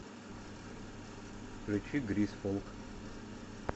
включи гризфолк